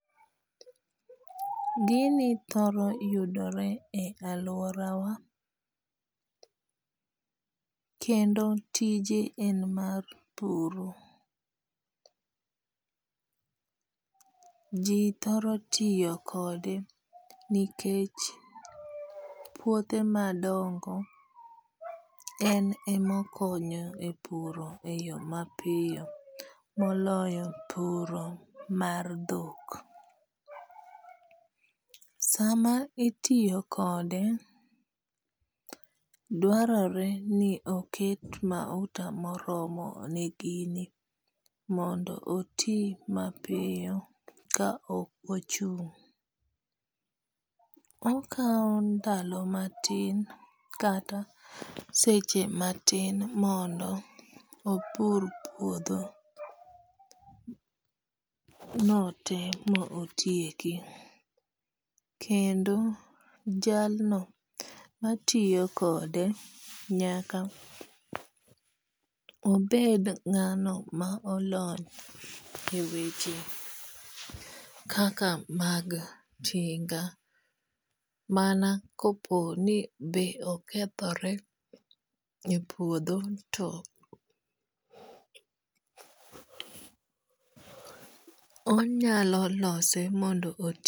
Gini thoro yudore e aluora wa kendo tije en mar puro. Ji thoro tiyo kode nikech puothe madongo en e mokonyo e puro e yo mapiyo moloyo puro mar dhok. Sama itiyo kode dwarore ni oket mauta moromo ne gini mondo oti mapiyo ka ok ochung'. Okaw ndalo matin kata seche matin mondo opur puodho no te mo otieki. Kendo jalno matiyo kode nyaka obed ng'ano ma olony e weche kaka mag tinga. Mana kopo ni be okethore e puodho to onyalo lose mondo